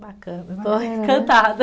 Bacana, estou encantada.